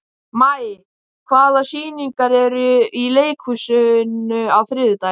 Maj, hvaða sýningar eru í leikhúsinu á þriðjudaginn?